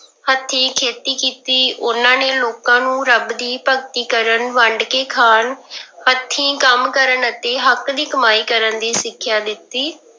ਹੱਥੀ ਖੇਤੀ ਕੀਤੀ ਉਹਨਾਂ ਨੇ ਲੋਕਾਂ ਨੂੰ ਰੱਬ ਦੀ ਭਗਤੀ ਕਰਨ ਵੰਡ ਕੇ ਖਾਣ ਹੱਥੀਂ ਕੰਮ ਕਰਨ ਅਤੇ ਹੱਕ ਦੀ ਕਮਾਈ ਕਰਨ ਦੀ ਸਿੱਖਿਆ ਦਿੱਤੀ।